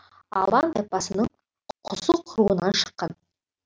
алан тайпасының құсық руынан шыққан